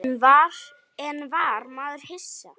En var maður hissa?